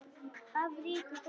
Af ríku fólki?